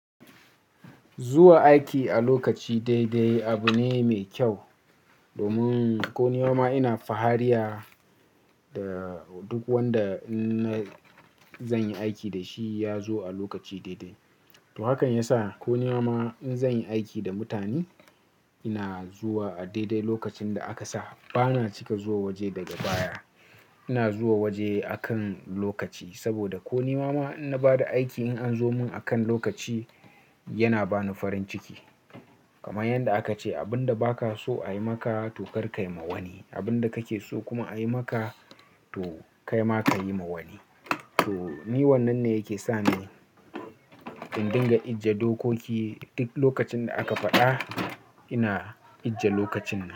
Zuwa aiki a lokaci daidai abu ne mai kyau. Domin ko ni ma ma ina fahariya da duk wanda zan yi aiki da shi ya zo a lokaci daidai. To hakan yasa ko ni ma ma in zan yi aiki da mutane ina zuwa a daidai lokacin da aka sa. Bana cika zuwa waje daga baya. Ina zuwa waje akan lokaci. Saboda ko ni ma ma in na bada aiki in an zo mun akan lokaci yana ba ni farin ciki. Kamar yanda aka ce abin da ba ka so a yi maka to kar kayi ma wani. Abin da kake so kuma a yi maka to kai ma ka yi ma wani. To ni wannan ne yake sa ni in dinga ijiye dokoki duk lokacin da aka faɗa ina ije lokacin nan.